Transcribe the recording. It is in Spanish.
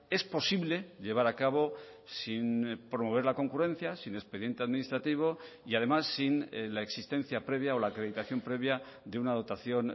es posible llevar a cabo sin promover la concurrencia sin expediente administrativo y además sin la existencia previa o la acreditación previa de una dotación